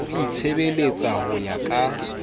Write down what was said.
o itshebeletsa ho ya ka